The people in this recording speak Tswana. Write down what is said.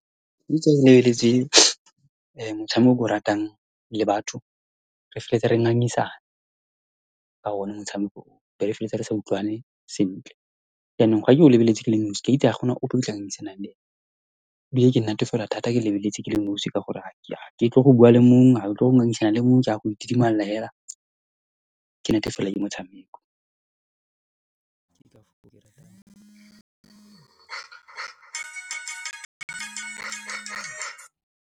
Ha ke lebeletse motshameko o ke o ratang, le batho re feleletsa re ngangisana ka one motshameko oo, be re feleletsa re sa utlwane sentle. Jaanong, fa ke o lebeletse ke le nosi, ke a itse ha gona o , ke ngangisana le ene, ebile ke natefelwa thata ke lebeletse ke le nosi, ka gore ha ke tle go bua le mongwe, ha ke tle go ngangisana le mongwe, ke a go itidimalela fela, ke natefalelwa ke motshameko.